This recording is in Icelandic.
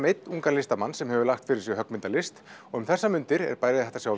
einn ungur listamaður sem hefur lagt fyrir sig höggmyndalist og um þessar mundir eru bæði